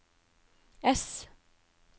ess